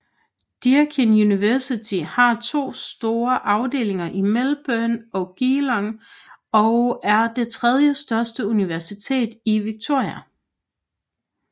Deakin University har to store afdelinger i Melbourne og Geelong og er det tredjestørste universitet i Victoria